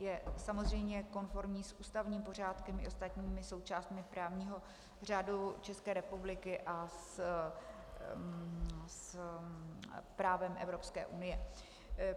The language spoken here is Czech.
Je samozřejmě konformní s ústavním pořádkem i ostatními součástmi právního řádu České republiky a s právem Evropské unie.